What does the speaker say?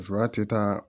Musoya tɛ taa